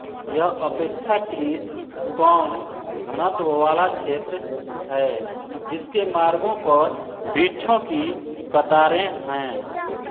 यह अपेक्षाकृत कम घनत्व वाला क्षेत्र हैजिसके मार्गों पर वृक्षों की कतारें हैं